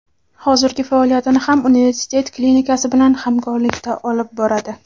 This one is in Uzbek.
Hozirgi faoliyatini ham universitet klinikasi bilan hamkorlikda olib boradi.